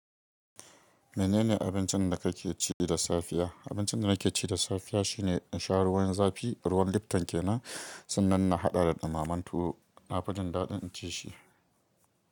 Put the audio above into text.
Menene abincin da kake ci da safiya? Abincin da nake ci da safiya shine in sha ruwan zafi, ruwan lifton ke nan, sannan na haɗa da ɗumaman tuwo. Na fi jin daɗin in ci shi.